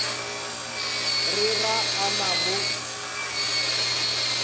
re ga a na mo